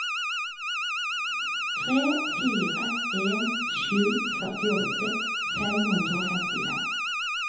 tre fire en sju førtiåtte fem hundre og femtifem